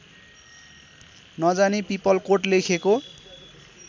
नजानी पिपलकोट लेखेको